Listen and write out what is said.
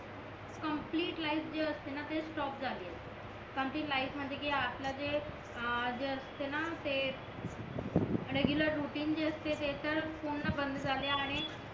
complete life जे असते ना ते स्टॉप झाले आहे कंप्लिट लाईफ म्हणजे कि आपला जे अं जे असते ना ते रेगुलर रुटीन जे असते ते तर पूर्ण बंद झाले आणि